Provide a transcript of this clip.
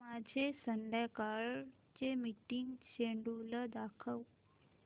माझे संध्याकाळ चे मीटिंग श्येड्यूल दाखव